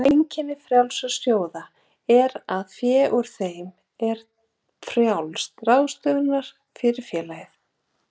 Einkenni frjálsra sjóða er það að fé úr þeim er til frjálsrar ráðstöfunar fyrir félagið.